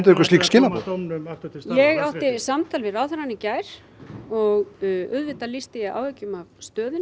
einhver slík skilaboð ég átti samtal við ráðherrann í gær og auðvitað lýsti ég áhyggjum af stöðunni